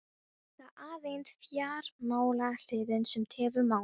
Það er aðeins fjármálahliðin, sem tefur málið.